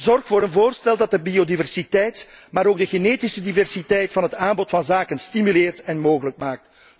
Zorg voor een voorstel dat de biodiversiteit, maar ook de genetische diversiteit van het aanbod van zaden stimuleert en mogelijk maakt.